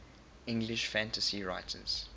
english fantasy writers